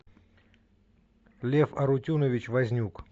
лев арутюнович вознюк